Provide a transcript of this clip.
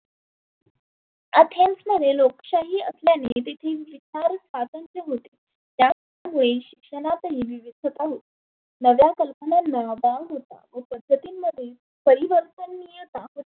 Athens मध्ये लोकशाही असल्याने तेथील स्वातंत्र्य होते. ज्या मुळे शिक्षणातही विवीधता होती. नव्या कल्पनांना वाव होता. बैचमीन मध्ये